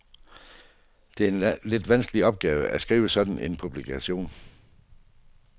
Det er lidt en vanskelig opgave at skrive sådan en publikation.